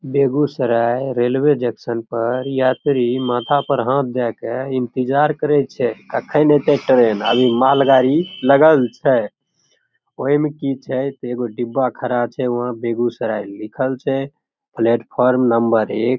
Begusarai railway junction पर यात्री माथा पर हाथ देखे इंतज़ार करय छै कखन आयते ट्रेन अर ई माल गाड़ी लगल छै ओय में की छै ते ईगो डिब्बा खड़ा छै वह बेगूसराय लिखल छै पेल्त्फोर्म नंबर एक।